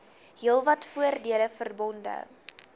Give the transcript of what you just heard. heelwat voordele verbonde